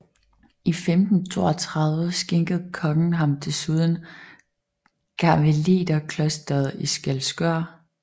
I 1532 skænkede kongen ham desuden karmeliterklosteret i Skælskør